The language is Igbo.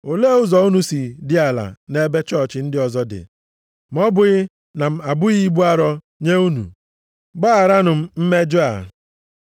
Olee ụzọ unu si dị ala nʼebe chọọchị ndị ọzọ dị, ma ọ bụghị na m abụghị ibu arọ nye unu? Gbagharanụ m mmejọ a.